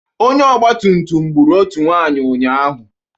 Onye ọgbatụmtụm gbụrụ otu nwaanyị ụnyaahụ.